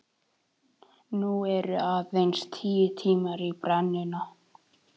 Nú eru aðeins tíu tímar í brennuna.